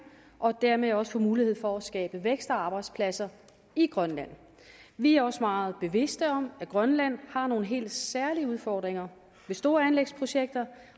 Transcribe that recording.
og dermed også få mulighed for at skabe vækst og arbejdspladser i grønland vi er også meget bevidste om at grønland har nogle helt særlige udfordringer ved store anlægsprojekter